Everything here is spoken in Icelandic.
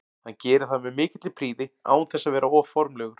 Hann gerir það með mikilli prýði án þess að vera of formlegur.